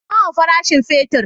Nawa farashin fetir?